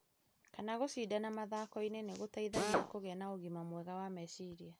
kana gũcindana mathakoinĩ nĩ gũteithagia kũgĩa na ũgima mwega wa meciria.